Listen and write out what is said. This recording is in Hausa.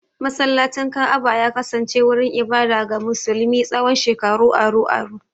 Masallacin Ka'aba ya kasance wurin ibada ga musulmi tsawon shekaru aru-aru.